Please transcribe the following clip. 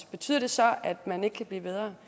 betyder det så at man ikke kan blive bedre